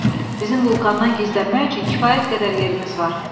Bizim vulkandan gizlənmək üçün kifayət qədər yerimiz var.